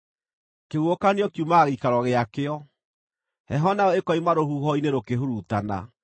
Kĩhuhũkanio kiumaga gĩikaro gĩakĩo, heho nayo ĩkoima rũhuho-inĩ rũkĩhurutana.